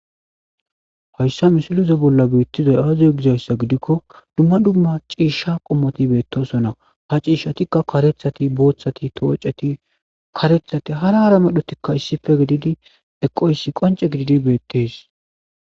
hoyssa misilize bolla biittizay aaziy gizayssa gidikko dumma dumma ciishsha qommoti beettosonna ha ciishshatikka karethati booththati tooceti karethati hara hara medhotikka issife gididi eqoyssi qonce gididi beettees